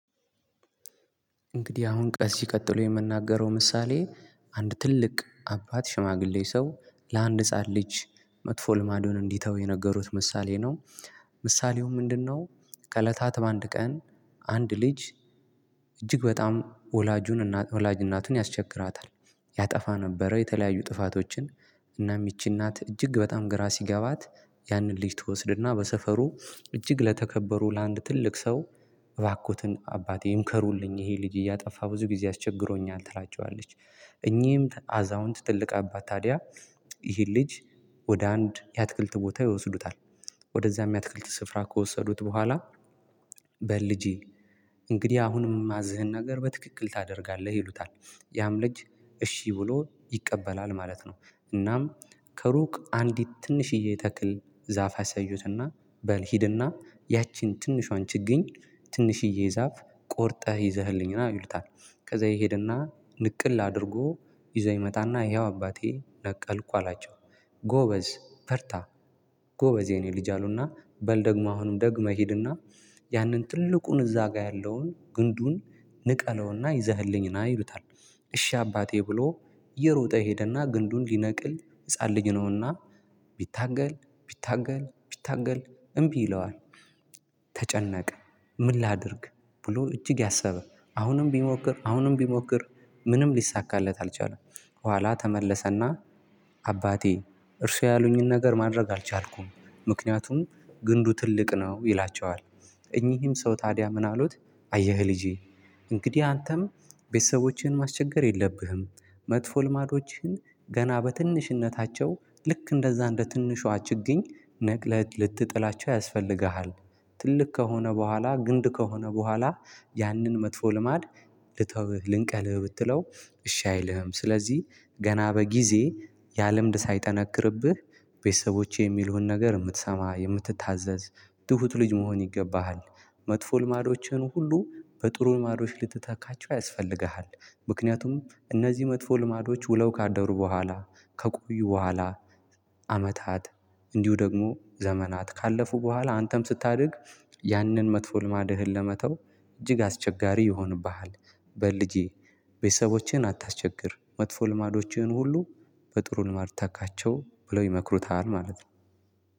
እንግዲህ አሁን ከዚ ቀጥሎ የምናገረው ምሳሌ አንድ ትልቅ አባት ሽማግሌ ሰው ለአንድ ህፃን ልጅ መጥፎ ልማዶን እንዲተው የነገሩት ምሳሌ ነው ምሳሌው ምንድነው ከለታት በአንድ ቀን አንድ ልጅ እጅግ በጣም ወላጁን ወላጅ እናቱን ያስቸግራታል። ያጠፋ ነበረ። የተለያዩ ጥፋቶችን እናም ይቺ እናት እጅግ በጣም ግራ ሲገባት ያንን ልጅ ትወስድና በሰፈሩ እጅግ ለተከበሩ ለአንድ ትልቅ ሰው እባኮትን አባቴ ምከሩልኝ ይሄ ልጅ እያጠፋ ብዙ ጊዜ አስቸግሮኛል ትላቸዋለች እኚህም አዛውንት ትልቅ አባት ታዲያ ይህን ልጅ ወደ አንድ የአትክልት ቦታ ይወስዱታል። ወደዚያም የአትክልት ስፍራ ከወሰዱት በኋላ በልጄ እንግዲህ አሁንም ማዘህን ነገር በትክክል ታደርጋለህ ይሉታል ያም ልጅ እሺ ብሎ ይቀበላል ማለት ነው እናም ከሩቅ አንዲት ትንሽዬ ተክል ዛፍ አሳዩትና በል ሂድና ያቺን ትንሿን ችግኝ ትንሽዬ ዛፍ ቆርጠህ ይዘህልኝ ና ይሉታል ከዛ ይሄድና ንቅል አድርጎ ይዘው ይመጣና ይኸው አባቴ ነቀልኩ አላቸው ጎበዝ በርታ ጎበዝ የኔ ልጅ አሉና በል ደግሞ አሁንም ደግመ ህድና ያንን ትልቁን እዛጋ ግንዱን ንቀለዉና ይዘህልኝ ና ይሉታል። እሺ አባቴ ብሎ እየሮጠ ሄደና ግንዱን ሊነቅል ህፃን ልጅ ነውና ቢታገል ቢታገል ቢታገል እምቢ ይለዋል። ተጨነቀ ምን ላድርግ ብሎ እጅግ አሰበ አሁንም ቢሞክር አሁንም ቢሞክር ምንም ሊሳካለት አልቻለም ኋላ ተመለሰና አባቴ እርሷ ያሉኝን ነገር ማድረግ አልቻልኩም ምክንያቱም ግንዱ ትልቅ ነው ይላቸዋል። እኚህም ሰው ታዲያ ምን አሉት አየህ ልጄ እንግዲህ አንተም ቤተሰቦቼን ማስቸገር የለብህም መጥፎ ልማዶችን ገና በትንሽነታቸው ልክ እንደዛ እንደ ትንሿ ችግኝ ንቅለህ ልትጥላቸው ያስፈልጋል። ትልቅ ከሆነ በኋላ ግንድ ከሆነ በኋላ ያንን መጥፎ ልማድ ልተውህ ልንቀልህ ብትለው እሺ አይልህም ስለዚህ ገና በጊዜ ያ ልምድ ሳይጠነክርብህ ቤተሰቦቼ የሚሉህን ነገር የምትሰማ የምትታዘዝ ትሁት ልጅ መሆን ይገባሃል መጥፎ ልማዶችህን ሁሉ በጥሩ ልማዶች ልትተካቸው ያስፈልጋል ምክንያቱም እነዚ መጥፎ ልማዶች ዉለው ካደሩ በኋላ ከቆዩ በኋላ አመታት እንዲሁ ደግሞ ዘመናት ካለፉ በኋላ አንተም ስታድግ ያንን መጥፎ ልማድህን ለመተው እጅግ አስቸጋሪ ይሆንብሃል በል ልጄ ቤተሰቦቼን አታስቸግር መጥፎ ልማዶቼን ሁሉ በጥሩ ልማድ ታካቸው ብለው ይመክሩታል ማለት ነው።